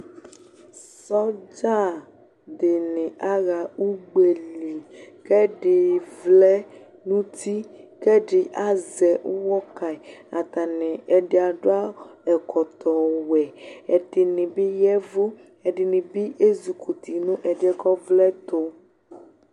Sɔdza dini aha ugbeli, kɛɖi vlɛ nuti, kɛdi azɛ uwɔ kayi ạtani ɛdi adu ɛkɔtɔwɛ, ɛdinibi yɛvụ, ɛdinibi ezikuti nu ɛdi kɔvlẽtu